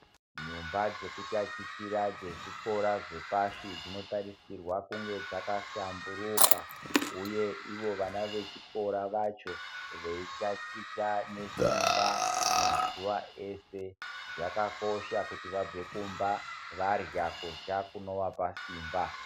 Nyumba dzekutachitira dzezvikora zvepashi dzinotarisirwa kunga dzakahlamburuka, uye ivo vana vechikora vacho veitachita nesimba mazuva ese. Zvakakosha kuti vabve kumba varya kurya kunovapa simba.